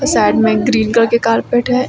Side में एक green colour के कारपेट है।